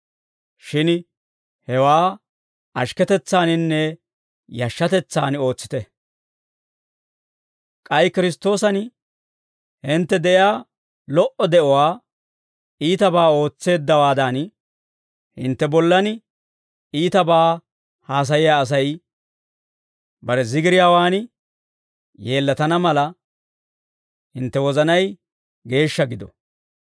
shin hewaa ashikketetsaaninne yashshatetsaan ootsite. K'ay Kiristtoosan hintte de'iyaa lo"o de'uwaa iitabaa ootseeddawaadan, hintte bollan iitabaa haasayiyaa Asay bare zigiriyaawaan yeellatana mala, hintte wozanay geeshsha gido.